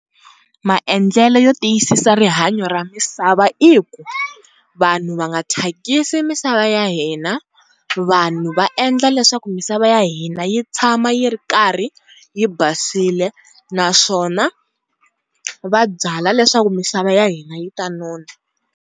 Maendlele yo tiyisisa rihanyo ra misava i ku vanhu va nga thyakisi misava ya hina, vanhu va endla leswaku misava ya hina yi tshama yi ri karhi yi basile naswona vabyala leswaku misava ya hina yi ta nona.